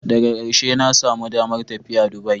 Daga karshe na samu damar tafiya Dubai.